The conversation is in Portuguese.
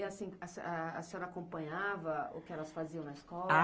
E, assim, a senhora acompanhava o que elas faziam na escola?